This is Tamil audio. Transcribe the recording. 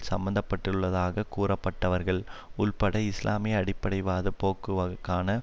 சம்பந்தப்பட்டுள்ளதாகக் கூறப்படுபவர்கள் உள்பட இஸ்லாமிய அடிப்படைவாதப் போக்குக்கான